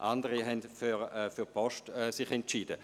Andere haben sich für die Post entschieden.